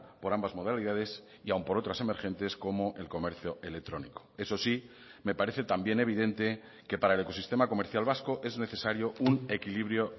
por ambas modalidades y aún por otras emergentes como el comercio electrónico eso sí me parece también evidente que para el ecosistema comercial vasco es necesario un equilibrio